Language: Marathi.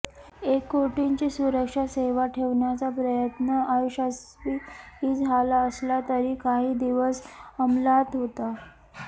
एक कोटींची सुरक्षासेवा ठेवण्याचा प्रयत्न अयशस्वी झाला असला तरी काही दिवस अंमलात होता